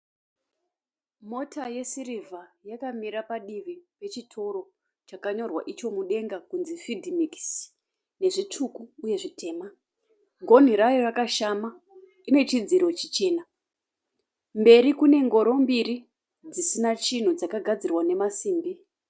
Mota yesirivha yakamira padivi pechitoro chakanyorwa icho mudenga kunzi FEEDMIX nezvitsvuku uye zvitema. Gonhi rayo rakashama. Ine chidziro chichena. Mberi kune ngoro mbiri dzisina chinhu dzakagadzirwa nemasimbi.